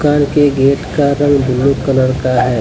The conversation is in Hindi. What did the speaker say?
घर के गेट का रंग ब्लू कलर का है।